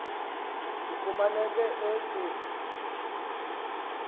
kufumaneke ezi mo